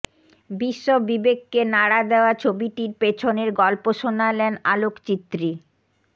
বিশ্ব বিবেককে নাড়া দেওয়া ছবিটির পেছনের গল্প শোনালেন আলোকচিত্রী